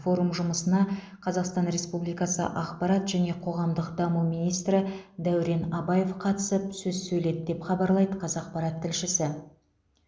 форум жұмысына қазақстан республикасы ақпарат және қоғамдық даму министрі дәурен абаев қатысып сөз сөйледі деп хабарлайды қазақпарат тілшісі